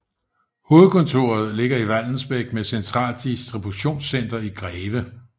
Hovedkontoret ligger i Vallensbæk med centralt distributionscenter i Greve